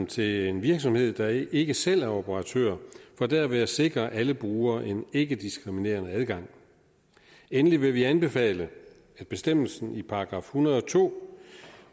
til en virksomhed der ikke selv er operatør for derved at sikre alle brugere en ikkediskriminerende adgang endelig vil vi anbefale at bestemmelsen i § en hundrede og to